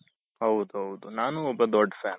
ಹೌದ್ ಹೌದ್ ನಾನು ಒಬ್ಬ ದೊಡ್ಡ fan